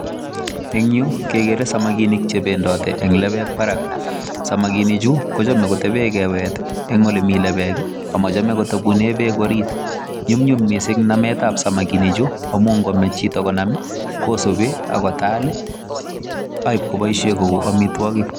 En Yu kegere samakinik chebendate en lebek Barak samakinik Chu kochame koteben kewet on elemiten bek akochame kotebunen bek orit nyumnyum mising namet ab samakinikamun ngomach Chito konam kosubi akotaku akoib kobaishen Kou amitwagik